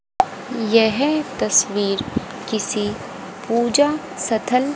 यह तस्वीर किसी पूजा सथल --